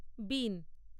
বীণ